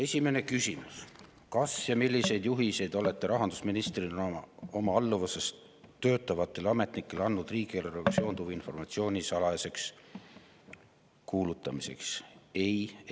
Esimene küsimus: "Kas ja milliseid juhiseid olete rahandusministrina oma alluvuses töötavatele ametnikele andnud riigieelarvega seonduva informatsiooni salajaseks kuulutamiseks?